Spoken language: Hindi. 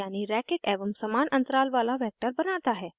उदाहरणस्वरूप